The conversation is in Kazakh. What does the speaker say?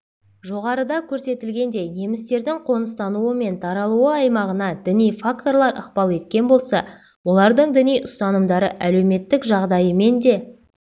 жоғарыда көрсетілгендей немістердің қоныстануы мен таралуы аймағына діни факторлар ықпал еткен болса олардың діни ұстанымдары әлеуметтік жағдайымен де